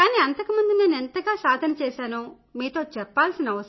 కానీ అంతకు ముందు నేను ఎంతగా సాధన చేసానో మీతో చెప్తాను